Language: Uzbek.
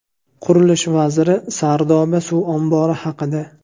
Qurilish vaziri Sardoba suv ombori haqida.